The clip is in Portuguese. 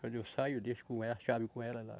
Quando eu saio, eu deixo com ela, a chave com ela lá.